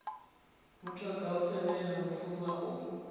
mutoga u tevhela mufuvha u